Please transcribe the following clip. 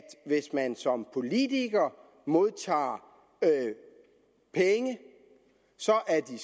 hvis man som politiker modtager penge så er de